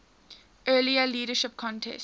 earlier leadership contest